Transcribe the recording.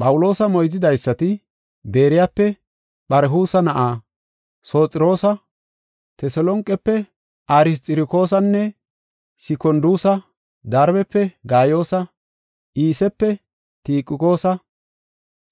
Phawuloosa moyzidaysati Beeriyape Pharhusa na7aa Sophaxiroosa, Teselonqefe Arsxirokoosanne Sikonduusa, Darbefe Gaayoosa, Iisepe Tikiqoosa,